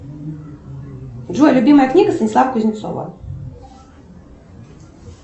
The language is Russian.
джой любимая книга станислава кузнецова